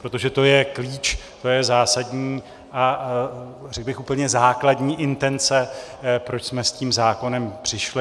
Protože to je klíč, to je zásadní a řekl bych úplně základní intence, proč jsme s tím zákonem přišli.